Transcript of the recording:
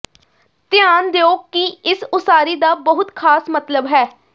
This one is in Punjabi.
ਧਿਆਨ ਦਿਓ ਕਿ ਇਸ ਉਸਾਰੀ ਦਾ ਬਹੁਤ ਖ਼ਾਸ ਮਤਲਬ ਹੈ